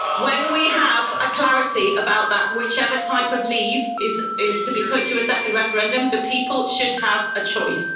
When we have clarity about whichever type of leave is to be put to a second referendum, the people should have a choice.